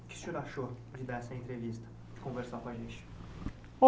O que o senhor achou de dar essa entrevista, de conversar com a gente?